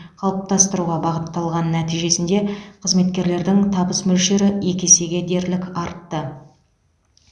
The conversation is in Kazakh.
қалыптастыруға бағытталған нәтижесінде қызметкерлердің табыс мөлшері екі есеге дерлік артты